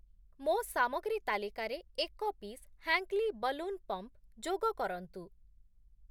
ମୋ ସାମଗ୍ରୀ ତାଲିକାରେ ଏକ ପିସ୍ ହ୍ୟାଙ୍କ୍‌ଲି ବଲୁନ୍‌ ପମ୍ପ୍‌ ଯୋଗ କରନ୍ତୁ।